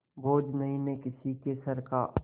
बोझ नहीं मैं किसी के सर का